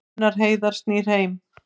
Gunnar Heiðar snýr heim